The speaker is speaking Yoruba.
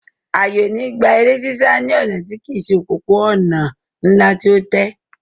Àyè ò ní gba eré sísá ní ọ̀nà tí kìí se òpópó-ònà ńlá tí ó tẹ́